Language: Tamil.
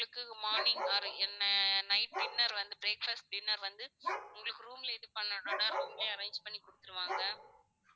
உங்களுக்கு morning or என்ன night dinner வந்து breakfast dinner வந்து உங்களுக்கு room லே இது பண்ணணும்னா room லே arrange பண்ணி கொடுத்துருவாங்க